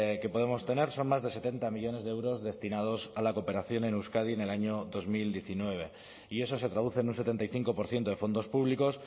que podemos tener son más de setenta millónes de euros destinados a la cooperación en euskadi en el año dos mil diecinueve y eso se traduce en un setenta y cinco por ciento de fondos públicos